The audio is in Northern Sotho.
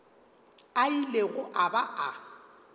a ilego a ba a